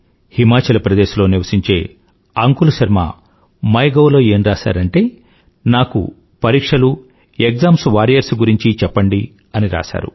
హిమాచల్ ప్రదేశ్ లో నివశించే Anshul Sharma my gov లో ఏం రాసాడంటే నాకు పరీక్షలు ఎక్షామ్ వారియర్స్ గురించి చెప్పండి అని రాశాడు